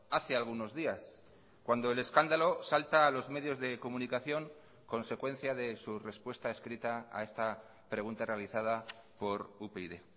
hace algunos días cuando el escándalo salta a los medios de comunicación consecuencia de su respuesta escrita a esta pregunta realizada por upyd